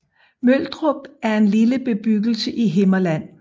Møldrup er en lille bebyggelse i Himmerland